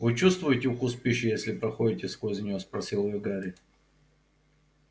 вы чувствуете вкус пищи если проходите сквозь неё спросил его гарри